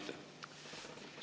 Aitäh!